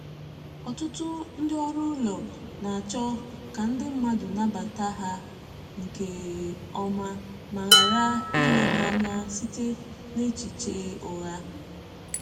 Ọtụtụ ndị ọrụ ụlọ na-achọ ka ndi mmadụ nabata ha nke ọma ma ghara ile ha anya site n’echiche ụgha.